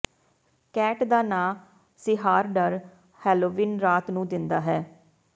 cat ਦਾ ਨਾਂ ਸੀਹਾਰਡਰ ਹੇਲੋਵੀਨ ਰਾਤ ਨੂੰ ਦਿੰਦਾ ਹੈ